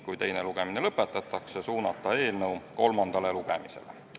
Kui teine lugemine lõpetatakse, suunata eelnõu kolmandale lugemisele.